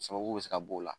Sababu bɛ se ka b'o la